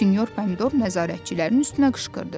Sinyor Pomidor nəzarətçilərin üstünə qışqırdı.